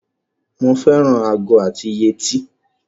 Mo fẹ́ràn ago àti yetí.